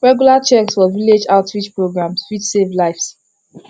regular checks for village outreach programs fit save lives